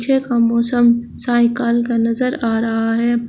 पीछे का मौसम साइकाल का नजर आ रहा है।